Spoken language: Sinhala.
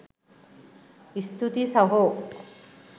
ස්තුතියි සහෝ